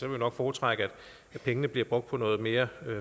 jeg nok foretrække at pengene bliver brugt på noget mere